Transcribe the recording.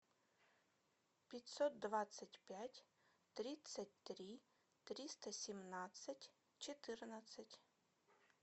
пятьсот двадцать пять тридцать три триста семнадцать четырнадцать